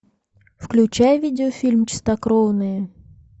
включай видеофильм чистокровные